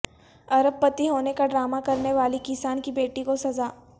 ارب پتی ہونے کا ڈرامہ کرنے والی کسان کی بیٹی کو سزا